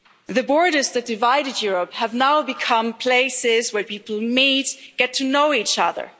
The borders that divided Europe have now become places where people meet, get to know each other.